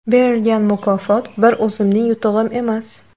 Berilgan mukofot bir o‘zimning yutug‘im emas.